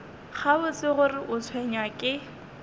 gabotse gore o tshwenywa ke